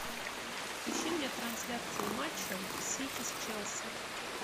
ищи мне трансляцию матча сити с челси